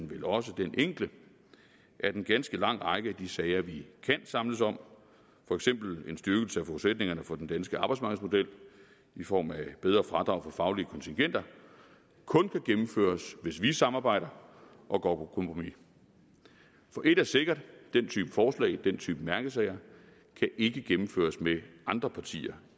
vel også den enkle at en ganske lang række af de sager vi kan samles om for eksempel en styrkelse af forudsætningerne for den danske arbejdsmarkedsmodel i form af bedre fradrag for faglige kontingenter kun kan gennemføres hvis vi samarbejder og går på kompromis for et er sikkert den type forslag den type mærkesager kan ikke gennemføres med andre partier